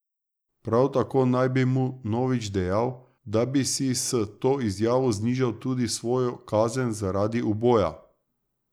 Prav tako naj bi mu Novič dejal, da bi si s to izjavo znižal tudi svojo kazen zaradi uboja.